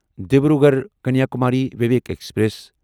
Dibrugarh Kanyakumari Vivek express